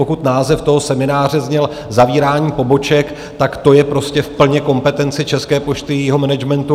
Pokud název toho semináře zněl zavírání poboček, tak to je prostě v plné kompetenci České pošty, jejího managementu.